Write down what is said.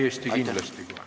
Täiesti kindlasti kohe.